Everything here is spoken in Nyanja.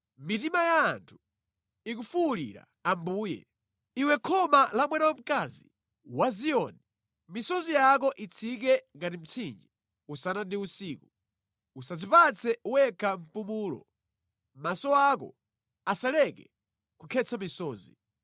Mitima ya anthu ikufuwulira Ambuye. Iwe khoma la mwana wamkazi wa Ziyoni, misozi yako itsike ngati mtsinje usana ndi usiku; usadzipatse wekha mpumulo, maso ako asaleke kukhetsa misozi.